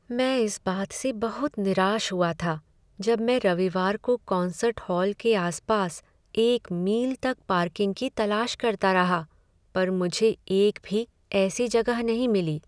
मैं इस बात से बहुत निराश हुआ था जब मैं रविवार को कॉन्सर्ट हॉल के आस पास एक मील तक पार्किंग की तलाश करता रहा, पर मुझे एक भी ऐसी जगह नहीं मिली।